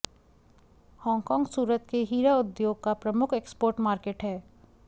Hong Kong Surat के हीरा उद्योग का प्रमुख एक्सपोर्ट मार्केट है